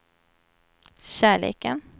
kärleken